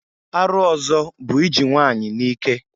Arụ ọzọ bụ iji nwanyị n'ike.